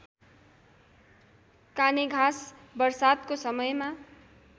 कानेघाँस वर्षातको समयमा